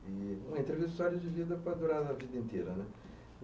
Uma entrevista de história de livro dá para durar a vida inteira, não é?